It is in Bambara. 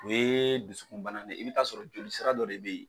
O ye dusukunbana de ye i bɛ taa sɔrɔ jolisira dɔ de bɛ ye.